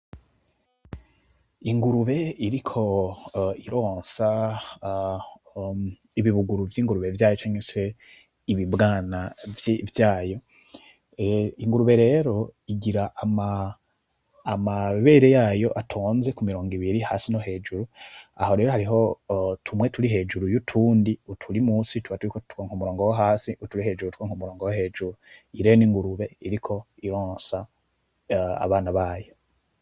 Ingurube iriko ironsa ibibuguru vy'ingurube vyayo canke se ibibwana vyayo, ingurube rero igira amabere yayo atonze ku mirongo ibiri hasi no hejuru, aho rero hariho tumwe turi hejuru y'utundi, uturi musi tuba turiko twonka umurongo wo hasi, uturi hejuru twonko umurongo wo hejuru, iyi rero n'ingurube iriko ironsa abana bayo.